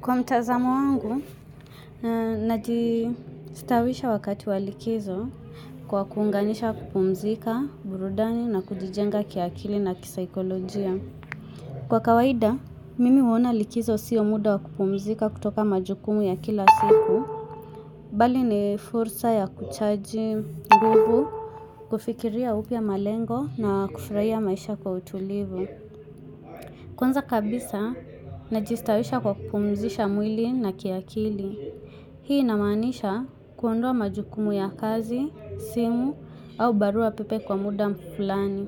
Kwa mtazamo wangu, najistawisha wakati wa likizo kwa kuunganisha kupumzika, burudani na kujijenga kiakili na kisaikolojia. Kwa kawaida, mimi uona likizo siyo muda kupumzika kutoka majukumu ya kila siku. Bali ni fursa ya kuchaji nguvu, kufikiria upya malengo na kufraia maisha kwa utulivu. Kwanza kabisa, najistawisha kwa kupumzisha mwili na kiakili. Hii inamaanisha kuondoa majukumu ya kazi, simu, au barua pepe kwa muda mfulani.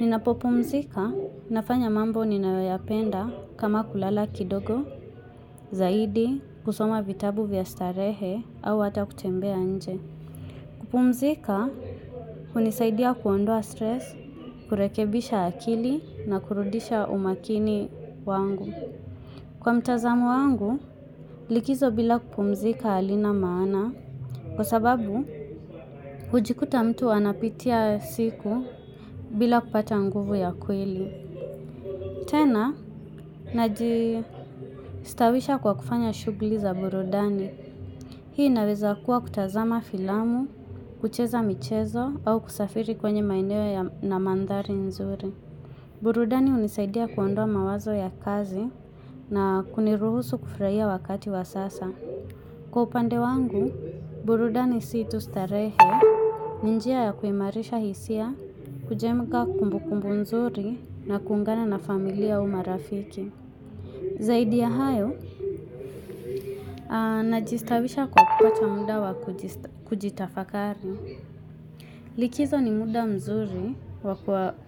Ninapopumzika, nafanya mambo ninayoyapenda kama kulala kidogo, zaidi, kusoma vitabu vya starehe, au ata kutembea nje. Kupumzika, kunisaidia kuondoa stress, kurekebisha akili na kurudisha umakini wangu. Kwa mtazamo wangu, likizo bila kupumzika halina maana kwa sababu hujikuta mtu anapitia siku bila kupata nguvu ya kweli. Tena, najistawisha kwa kufanya shughli za burudani. Hii inaweza kuwa kutazama filamu, kucheza michezo au kusafiri kwenye maeneo na mandhari nzuri. Burudani unisaidia kuondoa mawazo ya kazi na kuniruhusu kufraia wakati wa sasa. Kwa upande wangu, burudani sii tustarehe, ni njia ya kuimarisha hisia, kujenga kumbukumbu mzuri na kuungana na familia au marafiki. Zaidi ya hayo, najistawisha kwa kupata muda wa kujitafakari. Likizo ni muda mzuri wa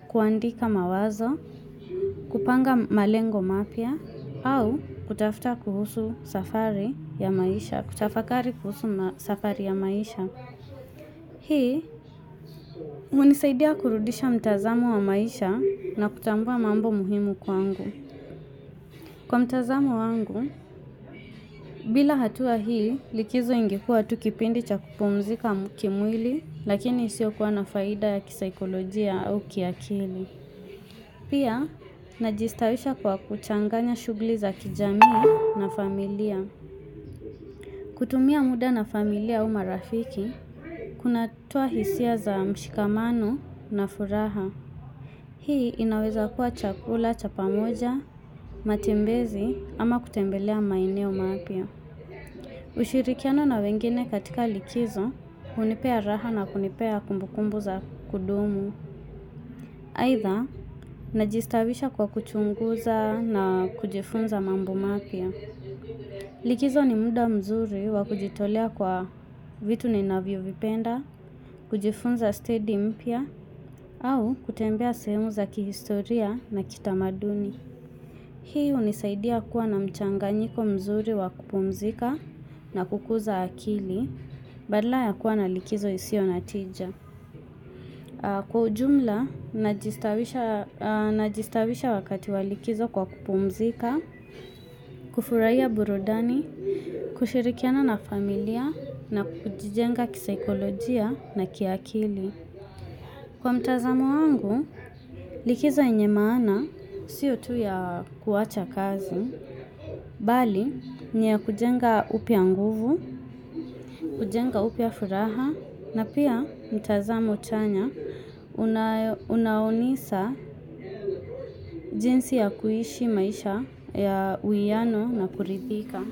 kuandika mawazo, kupanga malengo mapya, au kutafakari kuhusu safari ya maisha, kutafakari kuhusu safari ya maisha. Hii, unisaidia kurudisha mtazamo wa maisha na kutambua mambo muhimu kwangu. Kwa mtazamo wangu, bila hatua hii, likizo ingekuwa tu kipindi cha kupumzika kimwili, lakini isio kuwa na faida ya kisaikolojia au kiakili. Pia, najistawisha kwa kuchanganya shugli za kijamii na familia. Kutumia muda na familia au marafiki, kunatoa hisia za mshikamano na furaha. Hii inawezakuwa chakula, cha pamoja, matembezi ama kutembelea maeneo mapya. Ushirikiano na wengine katika likizo, hunipea raha na kunipea kumbukumbu za kudumu. Aidha, najistawisha kwa kuchunguza na kujifunza mambo mapya. Likizo ni muda mzuri wa kujitolea kwa vitu ninavyovipenda, kujifunza steady mpya au kutembea sehemu za kihistoria na kitamaduni. Hii unisaidia kuwa na mchanganyiko mzuri wa kupumzika na kukuza akili badala ya kuwa na likizo isio na tija. Kwa ujumla, najistawisha wakati walikizo kwa kupumzika, kufurahia burudani, kushirikiana na familia, na kujijenga kisikolojia na kiakili. Kwa mtazamo wangu likizo yenye maana sio tu ya kuwacha kazi, bali ni ya kujenga upya nguvu, kujenga upya furaha na pia mtazamo chanya unaonisa jinsi ya kuishi maisha ya uiyano na kuridhika.